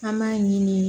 An b'a ɲini de